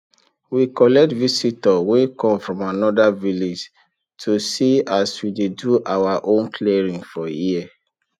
we collect visitor wey come from anoda village to see as we dey do our own clearing for here